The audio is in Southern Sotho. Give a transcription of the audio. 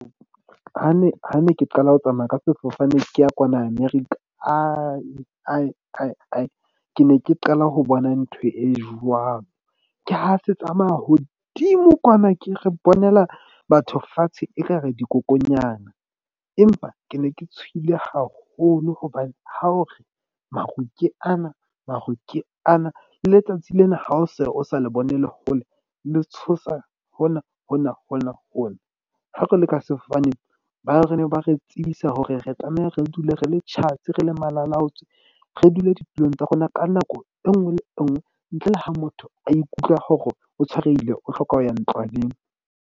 Ha ne ke qala ho tsamaya ka sefofane ke ya kwana America. Ke ne ke qala ho bona ntho e jwalo. Ke ha se tsamaya hodimo kwana ke re bonela batho fatshe, ekare dikokonyana. Empa ke ne ke tshohile haholo hobane ha o re maru ke ana maru ke ana. Letsatsi lena ha o se o sa le bonele hole le tshosa hona hona hona hona. Ha re le ka sefofaneng ba re ne ba re tsebisa hore re tlameha re dule re le tjhatsi, re le malalaotswe, re dule ditulong tsa rona ka nako e nngwe le e nngwe. Ntle le ha motho a ikutlwa hore o tshwarehile, o hloka ho ya ntlwaneng.